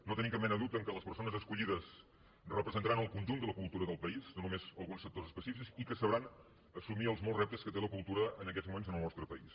no tenim cap mena de dubte que les persones escollides representa·ran el conjunt de la cultura del país no només alguns sectors específics i que sabran assumir els molts rep·tes que té la cultura en aquests moments en el nostre país